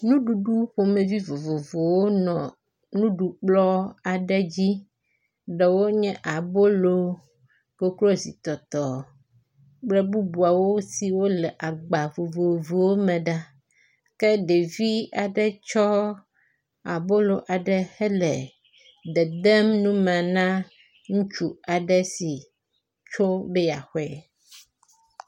Nuɖuɖu ƒomevi vovovowo nɔ nuɖukplɔ aɖe dzi. Ɖewo nye abolo, koklozi tɔtɔ kple bubuawo siwo le agba vovovowo me ɖa kje ɖevi aɖe tsɔ abolo aɖe hele dedem nu me na ŋutsu aɖe si tsom be yeakɔe.